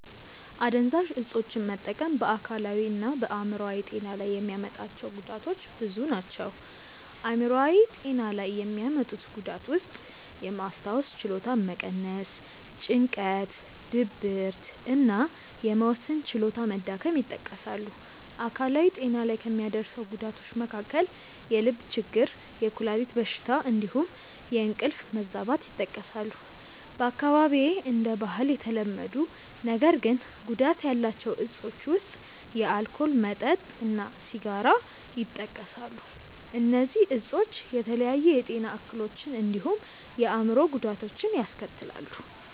አደንዛዥ እፆችን መጠቀም በ አካላዊ እና በ አይምሮአዊ ጤና ላይ የሚያመጣቸው ጉዳቶች ብዙ ናቸው። አይምሯዊ ጤና ላይ የሚያመጡት ጉዳት ውስጥየማስታወስ ችሎታን መቀነስ፣ ጭንቀት፣ ድብርት እና የመወሰን ችሎታ መዳከም ይጠቀሳሉ። አካላዊ ጤና ላይ ከሚያደርሰው ጉዳቶች መካከል የልብ ችግር፣ የኩላሊት በሽታ እንዲሁም የእንቅልፍ መዛባት ይጠቀሳሉ። በአካባቢዬ እንደ ባህል የተለመዱ ነገር ግን ጉዳት ያላቸው እፆች ውስጥ የአልኮል መጠጥ እና ሲጋራ ይጠቀሳሉ። እነዚህ እፆች የተለያዩ የጤና እክሎችን እንዲሁም የአእምሮ ጉዳቶችን ያስከትላሉ።